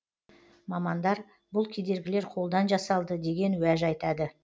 мамандар бұл кедергілер қолдан жасалды деген уәж айтады